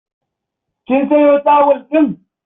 Kin sayo tawul ɗin?